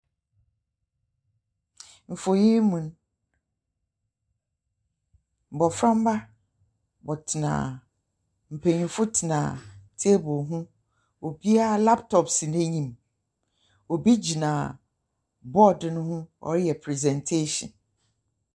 Mfonyin mu a, mboframba wɔtsena, mpanyin tsena table ho. Obiara laptop si n’enyim. Obi gyina board no ho, ɔreyɛ presentation.